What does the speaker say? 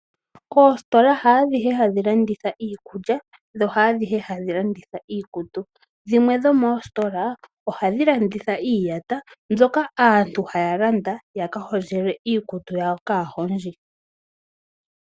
Oositola haadhihe hadhi landitha iikulya nohaadhihe hadhi landitha iikutu. Dhimwe dhomoositola ohadhi landitha iiyata mbyoka aantu haalanda yaka hondjelwe iikutu yawo kaahondji.